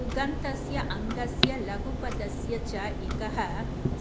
पुगन्तस्य अङ्गस्य लघूपधस्य च इकः